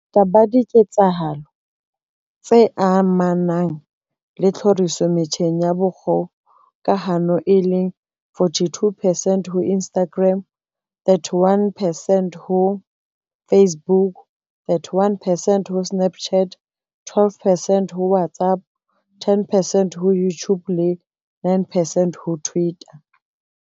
Bongata ba diketsahalo tse amanang le tlhoriso metjheng ya kgokahano, e leng 42 percent, di ho Instagram, 31 percent ho Facebook, 31 percent ho Snapchat, 12 percent ho WhatsApp, 10 percent ho YouTube le 9 percent ho Twitter.